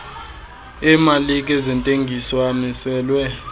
emalike zentengiso amiselwe